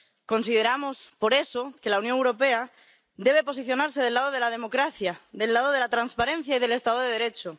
Consideramos, por eso, que la Unión Europea debe posicionarse del lado de la democracia, del lado de la transparencia y del Estado de Derecho.